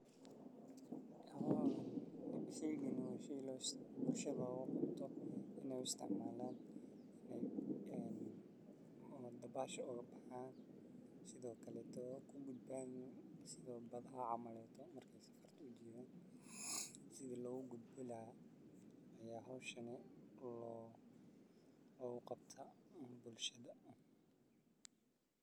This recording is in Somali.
Haa, sheygan waa shey ay bulshada u isticmaalaan dabaasha oo kale, ama sidoo kale marka ay dadka safar ku jiraan, gaar ahaan meelaha biyaha ah sida webiyada, harooyinka ama badaha. Waxa uu ka mid yahay qalabka lagu ilaaliyo nafaha, si gaar ah carruurta ama dadka aan si fiican u dabaalan karin. Waxaa lagu gas.